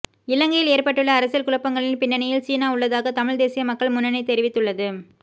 இலங்கையில் ஏற்பட்டுள்ள அரசியல் குழப்பங்களின் பின்னணியில் சீனா உள்ளதாக தமிழ் தேசிய மக்கள் முன்னணி தெரிவித்துள்ளது